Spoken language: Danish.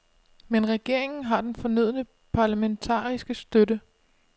Men regeringen har den fornødne parlamentariske støtte.